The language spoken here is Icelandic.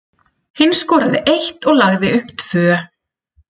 Hinn skoraði eitt og lagði upp tvö.